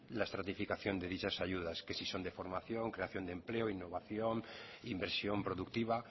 la estratificación de dichas ayudas que si son de formación creación de empleo innovación inversión productiva